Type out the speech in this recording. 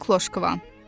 Ey Kloşqvan.